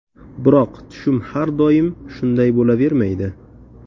Biroq tushum har doim shunday bo‘lavermaydi.